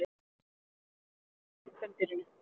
Frjóvgun fer fram inni í kvendýrinu.